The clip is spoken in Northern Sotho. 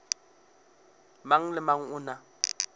mang le mang o na